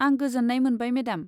आं गोजोन्नाय मोनबाय मेडाम।